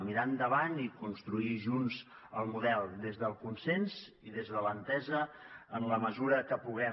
mirar endavant i construir junts el model des del consens i des de l’entesa en la mesura que puguem